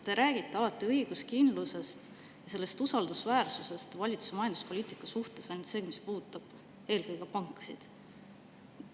Te räägite õiguskindlusest ja usaldusest valitsuse majanduspoliitika suhtes ainult seoses sellega, mis puudutab eelkõige pankasid.